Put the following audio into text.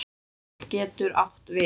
Sveinn getur átt við